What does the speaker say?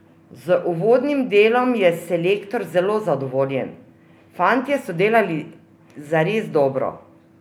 Z uvodnim delom je selektor zelo zadovoljen: "Fantje so delali zares dobro.